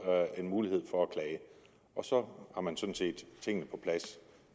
og en mulighed for at klage og så har man sådan set tingene på plads